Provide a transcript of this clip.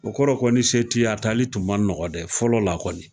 O kɔrɔ kɔni se ti ye a taali tun ma nɔgɔ dɛ fɔlɔ la kɔni